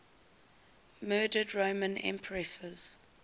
murdered roman empresses